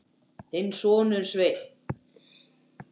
Þinn sonur, Sveinn.